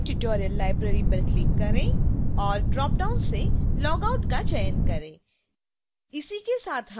spoken tutorial library पर click करें और ड्रॉपडाउन से लॉगआउट का चयन करें